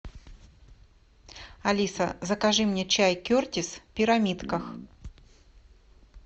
алиса закажи мне чай кертис в пирамидках